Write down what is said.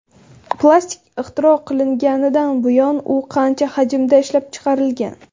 Plastik ixtiro qilinganidan buyon u qancha hajmda ishlab chiqarilgan?.